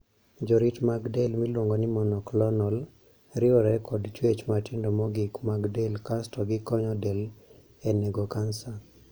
Jorit mag del miluongo ni 'monoclonal' riwore kod chuech matindo mogik mag del kasto gikonyo del e nego kansa.